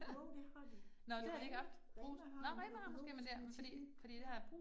Jo, det har de. I Rema Rema har den økologiske med chili, ja